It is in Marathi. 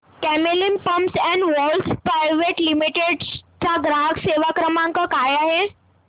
Camlin pumps and valves private limited चा ग्राहक सेवा क्रमांक काय आहे